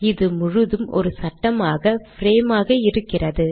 இது முழுதும் ஒரு சட்டமாக பிரேம் ஆக இருக்கிறது